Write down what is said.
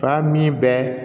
Fa min bɛ